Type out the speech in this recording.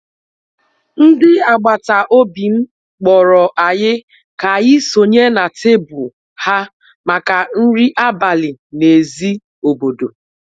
ndị agbata obi m kpọrọ anyị ka anyị sonye na tebụl ha maka nri abalị n'èzí obodo